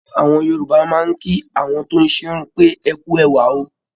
Àwọn Yorùbá máa ń kí àwọn tóún ṣerun pé "ẹkú ẹwà o"